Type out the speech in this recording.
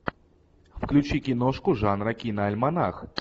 включи киношку жанра киноальманах